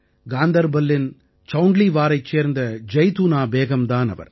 காந்தர்பல்லின் சௌண்ட்லீவாரைச் சேர்ந்த ஜைதூனா பேகம் தான் அவர்